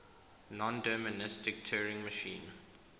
nondeterministic turing machine